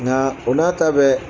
Nka o n'a ta bɛɛ